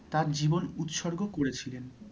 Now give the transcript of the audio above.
তাঁর জীবন উৎসর্গ করেছিলেন।